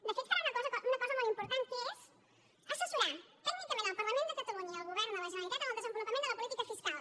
de fet farà una cosa molt important que és assessorar tècnicament el parlament de catalunya i el govern de la generalitat en el desenvolupament de la política fiscal